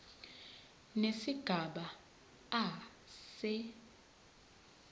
nesigaba a se